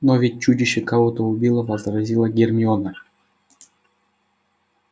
но ведь чудище кого-то убило возразила гермиона